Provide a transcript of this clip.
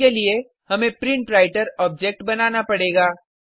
इसके लिए हमें प्रिंटवृतर ऑब्जेक्ट बनाना पड़ेगा